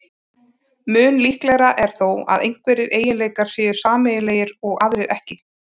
Mun líklegra er þó að einhverjir eiginleikar séu sameiginlegir og aðrir ekki.